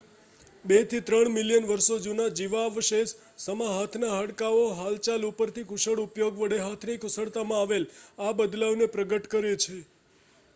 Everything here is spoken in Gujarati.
2 થી 3 મિલિયન વર્ષો જૂના જીવાવશેષ સમા હાથના હાડકાઓ હાલચાલ ઉપર થી કૂશળ ઉપયોગ વડે હાથની કુશળતામાં આવેલ આ બદલાવને પ્રગટ કરે છે